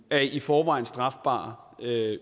af i forvejen strafbare